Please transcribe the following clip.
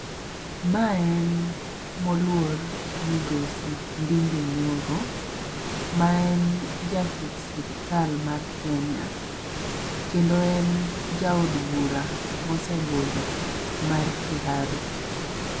Mae en moluor Migosi Ndindi Nyoro ma en jatich sirikal mar Kenya kendo en ja od bura mosebudho mar Kiaru.